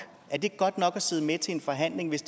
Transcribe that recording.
er det godt nok at sidde med til en forhandling hvis